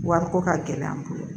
Wariko ka gɛlɛ an bolo